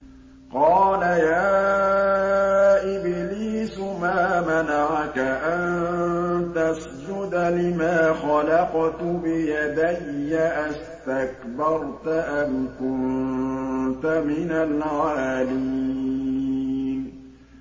قَالَ يَا إِبْلِيسُ مَا مَنَعَكَ أَن تَسْجُدَ لِمَا خَلَقْتُ بِيَدَيَّ ۖ أَسْتَكْبَرْتَ أَمْ كُنتَ مِنَ الْعَالِينَ